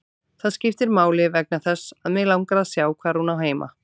Það skiptir máli vegna þess að mig langar að sjá hvar hún á heima.